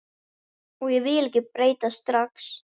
Og ég vil ekki breytast strax.